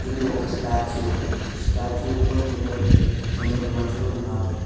ఇది ఒక స్టాచ్చు ఈ స్టాచ్యూలో కొందరు వక్ కొందరు మనుషులు ఉన్నారు.